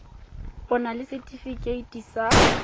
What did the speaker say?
o na le setefikeiti sa